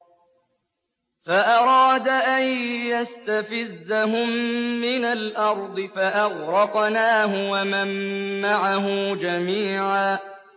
فَأَرَادَ أَن يَسْتَفِزَّهُم مِّنَ الْأَرْضِ فَأَغْرَقْنَاهُ وَمَن مَّعَهُ جَمِيعًا